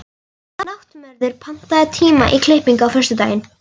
Náttmörður, pantaðu tíma í klippingu á föstudaginn.